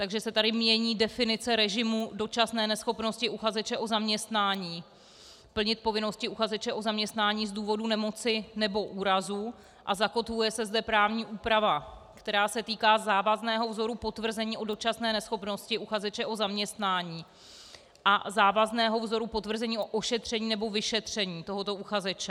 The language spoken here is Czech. Takže se tady mění definice režimu dočasné neschopnosti uchazeče o zaměstnání plnit povinnosti uchazeče o zaměstnání z důvodu nemoci nebo úrazu a zakotvuje se zde právní úprava, která se týká závazného vzoru potvrzení o dočasné neschopnosti uchazeče o zaměstnání a závazného vzoru potvrzení o ošetření nebo vyšetření tohoto uchazeče.